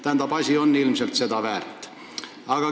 Tähendab, asi on ilmselt seda väärt.